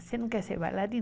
Você não quer ser bailarina?